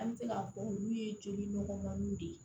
An bɛ se k'a fɔ olu ye joli nɔgɔmaniw de